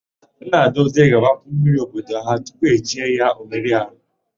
Nnadozie ga-agbapu mmiri n'obodo ha tupu e chie ya, Ọmereọha.